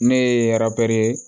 Ne ye arabiri